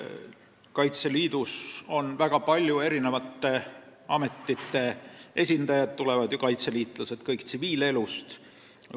Kaitseliidus on väga paljude ametite esindajaid – tulevad ju kaitseliitlased kõik tsiviilelust.